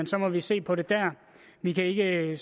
så må vi se på det dér vi kan